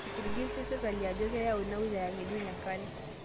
Eisiligishe sirkali ajo kewau ina wilaya ng'ejuk enkare